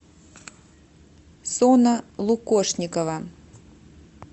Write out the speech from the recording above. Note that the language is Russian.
сона лукошникова